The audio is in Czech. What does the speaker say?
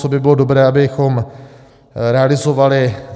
Co by bylo dobré, abychom realizovali?